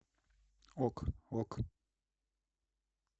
ок ок